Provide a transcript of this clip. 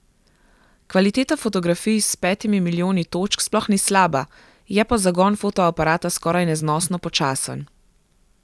Kvaliteta fotografij s petimi milijoni točk sploh ni slaba, je pa zagon fotoaparata skoraj neznosno počasen.